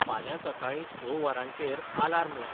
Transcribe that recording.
फाल्यां सकाळीं स वरांचेर आलार्म लाय